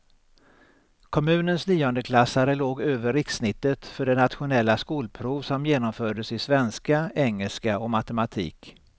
Kommunens niondeklassare låg över rikssnittet för det nationella skolprov som genomfördes i svenska, engelska och matematik.